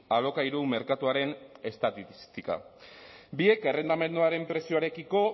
alokairu merkatuaren estatistika biek errentamenduaren prezioarekiko